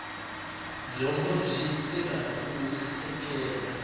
byongo byi tirha ku hleketa